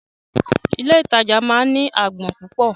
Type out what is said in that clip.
Ilé ìtajà ńlá máa ń ní agbọn púpọ̀.